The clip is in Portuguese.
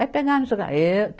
Vai pegar Ê